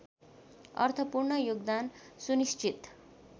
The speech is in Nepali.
अर्थपूर्ण योगदान सुनिश्चित